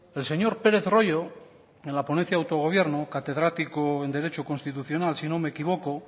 el señor pérez royo en la ponencia de autogobierno catedrático en derecho constitucional si no me equivoco